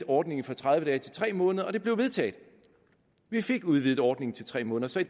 ordningen fra tredive dage til tre måneder og det blev vedtaget vi fik udvidet ordningen til tre måneder så i